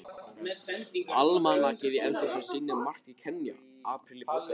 Almanakið í eldhúsinu sýnir mars í Kenýa, apríl í Búlgaríu.